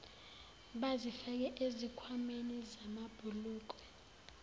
bazifake ezikhwameni zamabhulukwe